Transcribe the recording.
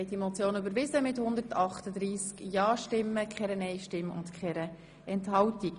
Sie haben das Postulat einstimmig angenommen.